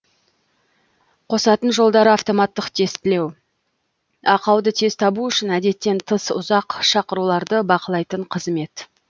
қосатын жолдарды автоматтық тестілеу ақауды тез табу үшін әдеттен тыс ұзақ шақыруларды бақылайтын қызмет